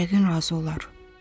Yəqin razı olar.